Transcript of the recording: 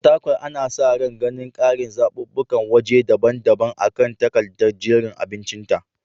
Fatakwal ana sa ran ganin ƙarin zaɓuɓɓukan waje daban-daban akan takadar jerin abincinta.